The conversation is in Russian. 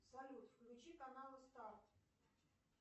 салют включи каналы старт